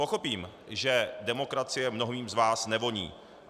Pochopím, že demokracie mnohým z vás nevoní.